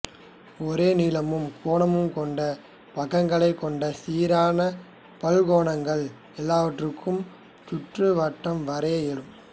ஒரே நீளமும் கோணமும் கொண்ட பக்கங்களைக் கொண்ட சீரான பல்கோணங்கள் எல்லாவற்றுக்கும் சுற்றுவட்டம் வரைய இயலும்